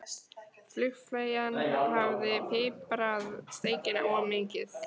Flugfreyjan hafði piprað steikina of mikið.